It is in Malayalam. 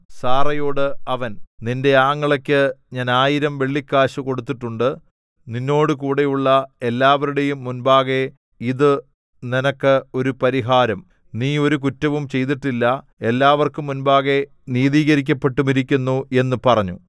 സാറയോടു അവൻ നിന്റെ ആങ്ങളയ്ക്ക് ഞാൻ ആയിരം വെള്ളിക്കാശു കൊടുത്തിട്ടുണ്ട് നിന്നോടുകൂടെയുള്ള എല്ലാവരുടെയും മുമ്പാകെ ഇതു നിനക്ക് ഒരു പരിഹാരം നീ ഒരു കുറ്റവും ചെയ്തിട്ടില്ല എല്ലാവർക്കും മുമ്പാകെ നീതീകരിക്കപ്പെട്ടുമിരിക്കുന്നു എന്നു പറഞ്ഞു